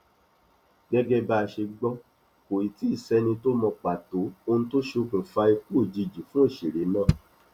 gẹgẹ bá a ṣe gbọ kò tíì sẹni tó mọ pàtó ohun tó ṣokùnfà ikú òjijì fún òṣèré náà